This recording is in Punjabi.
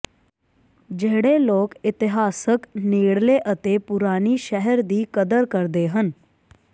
ਜਿਹੜੇ ਲੋਕ ਇਤਿਹਾਸਕ ਨੇੜਲੇ ਅਤੇ ਪੁਰਾਣੀ ਸ਼ਹਿਰ ਦੀ ਕਦਰ ਕਰਦੇ ਹਨ